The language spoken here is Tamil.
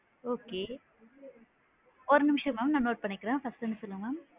Okay ஒரு நிமிஷம் mam நான் note பண்ணிக்கிறேன் first ல இருந்து சொல்லுங்க madam